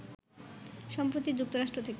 সম্প্রতি যুক্তরাষ্ট্র থেকে